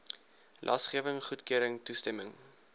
lasgewing goedkeuring toestemming